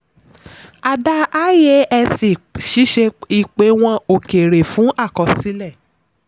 a dá iasc ṣíṣe ìpéwọ̀n òkèèrè fún àkọsílẹ̀.